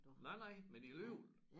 Nej nej men alligevel